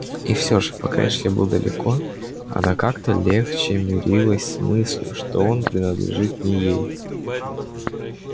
и всё же пока эшли был далеко она как-то легче мирилась с мыслью что он принадлежит не ей